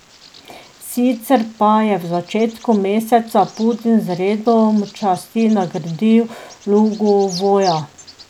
Sicer pa je v začetku meseca Putin z redom časti nagradil Lugovoja.